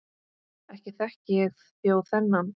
Ekki þekki ég þjó þennan.